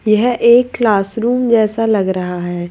यह एक classroom जैसा लग रहा है।